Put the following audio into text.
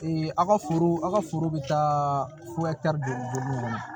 aw ka foro a ka foro bɛ taa don kɔnɔ